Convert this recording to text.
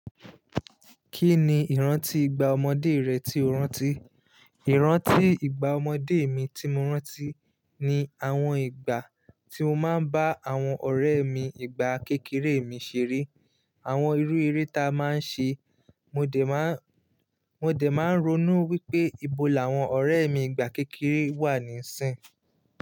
Kí ni ìrántí ìgbà ọmọdé rẹ tí o rántí? Ìrántí ìgbà ọmọdé mi tí mo rántí ni àwọn ìgbà tí mo máa ń bá àwọn ọ̀rẹ́ mi ìgbà kékeré mi ṣeré, àwọn irú eré ta a máa ń ṣe. Mo dè má, mo dè máa ń ronú wípé ibo làwọn ọ̀rẹ́ mi ìgbà kékeré wà níìsín.